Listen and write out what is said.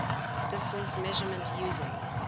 distance measurement using